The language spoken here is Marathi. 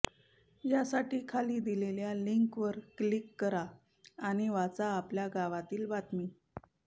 यासाठी खाली दिलेल्या लिंकवर क्लिक करा आणि वाचा आपल्या गावातील बातमी